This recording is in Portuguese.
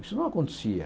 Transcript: Isso não acontecia.